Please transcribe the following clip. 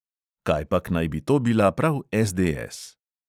Kajpak naj bi to bila prav SDS.